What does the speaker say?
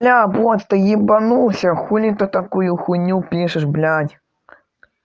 бля бро ты ебанулся хули ты такую хуйню пишешь блять